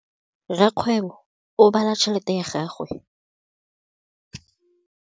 Rakgwêbô o bala tšheletê ya gagwe.